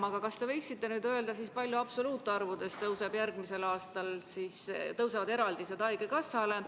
Aga kas te võiksite öelda, kui palju absoluutarvudes kasvavad järgmisel aastal haigekassale ette nähtud eraldised?